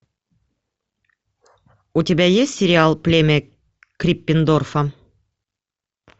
у тебя есть сериал племя криппендорфа